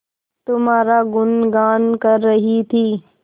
तुम्हारा गुनगान कर रही थी